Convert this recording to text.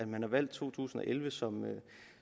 man har valgt to tusind og elleve som